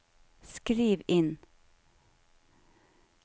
skriv inn